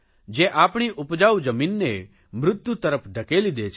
જે આપણી ઉપજાઉ જમીનને મૃત્યુ તરફ ધકેલી દે છે